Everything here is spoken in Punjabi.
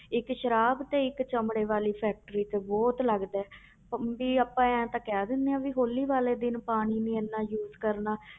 ਇੱਕ ਸਰਾਬ ਤੇ ਇੱਕ ਚਮੜੇ ਵਾਲੀ factory ਤੇ ਬਹੁਤ ਲੱਗਦਾ ਹੇ ਵੀ ਆਪਾਂ ਇਉਂ ਤਾਂ ਕਹਿ ਦਿੰਦੇ ਹਾਂ ਵੀ ਹੌਲੀ ਵਾਲੇ ਦਿਨ ਪਾਣੀ ਨੀ ਇੰਨਾ use ਕਰਨਾ